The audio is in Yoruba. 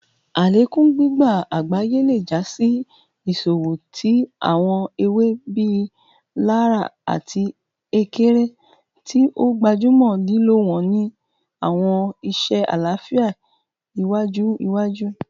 Alekun gbigba agbaye le ja si iṣowo ti awọn ewe bii laraa ati ekere, ti o gbajumọ lilo wọn ni awọn iṣe alafia iwaju iwaju.